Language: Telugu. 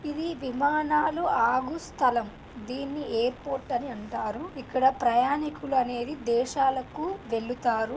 ఇది విమానాలు ఆగు స్థలం. దీన్ని ఎయిర్ పోర్ట్ అని అంటారు. ఇక్కడ ప్రయాణికులు అనేది దేశాలకు వెళుతారు.